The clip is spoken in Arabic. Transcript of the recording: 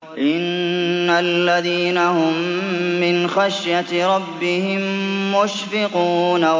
إِنَّ الَّذِينَ هُم مِّنْ خَشْيَةِ رَبِّهِم مُّشْفِقُونَ